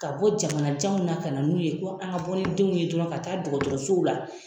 Ka bɔ jamana janw na ka na n'u ye ko an ka bɔ ni denw ye dɔrɔn ka taa dɔgɔtɔrɔsow la.